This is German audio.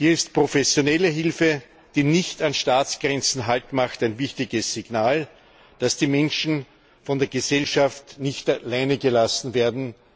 Hier ist professionelle Hilfe, die nicht an Staatsgrenzen Halt macht, ein wichtiges Signal, dass die Menschen von der Gesellschaft nicht alleingelassen werden.